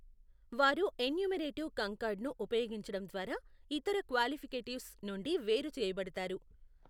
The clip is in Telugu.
వారు ఎన్యూమరేటివ్ కంకార్డ్ను ఉపయోగించడం ద్వారా ఇతర క్వాలిఫికేటివ్స్ నుండి వేరు చేయబడతారు.